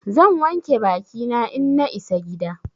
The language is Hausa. Zan wanke bakina in na isa gida.